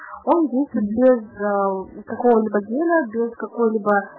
какого размера убытков